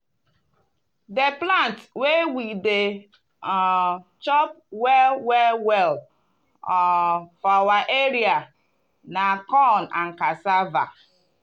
di plant wey we dey um chop well well well um for our area na corn and cassava.